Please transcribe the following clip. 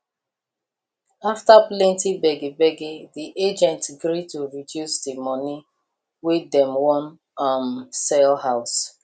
after plenty begbeg the agent gree to reduce the money wey dem wan um sell house